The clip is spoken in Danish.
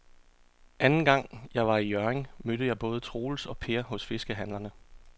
Anden gang jeg var i Hjørring, mødte jeg både Troels og Per hos fiskehandlerne.